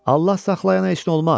Allah saxlayana heç nə olmaz.